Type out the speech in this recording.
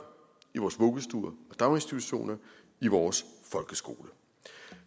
i vores vuggestuer og daginstitutioner i vores folkeskole